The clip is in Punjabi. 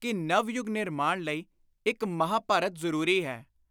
ਕਿ ਨਵ-ਯੁਗ-ਨਿਰਮਾਣ ਲਈ ਇਕ ਮਹਾਂਭਾਰਤ ਜ਼ਰੂਰੀ ਹੈ।